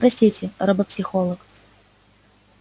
простите робопсихолог